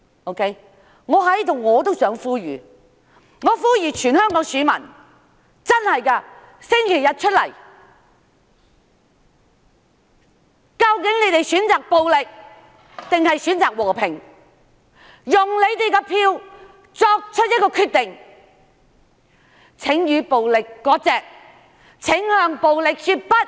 我在這裏也呼籲全香港選民在星期日投票，究竟大家選擇暴力，還是和平，請大家以選票來作出決定，請與暴力割席，請向暴力說不。